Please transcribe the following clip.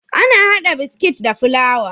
Ana hada biskit da fulawa